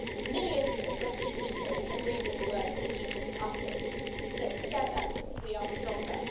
Millions of British people agree with the words that you just uttered, but together we are stronger.